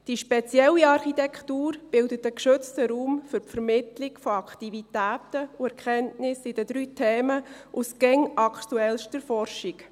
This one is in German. Diese spezielle Architektur bildet einen geschützten Raum für die Vermittlung von Aktivitäten und Erkenntnissen in den drei Themenbereichen aus immer aktuellster Forschung.